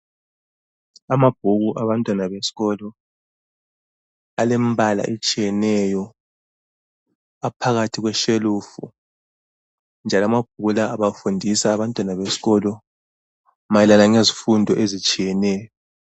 Amabhuku awabantwana besikolo alembala etshiyeneyo aphakathi kweshelufu njalo amabhuku lawa abafundisa abantwana besikolo mayelana lezifundo ezitshiyeneyo.